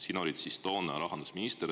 Sina olid toona rahandusminister.